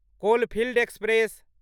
coalfield express